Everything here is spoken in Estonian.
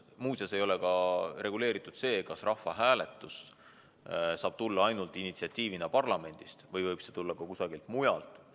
Muuseas, reguleeritud ei ole ka see, kas rahvahääletuse initsiatiiv saab tulla ainult parlamendist või võib see tulla ka kusagilt mujalt.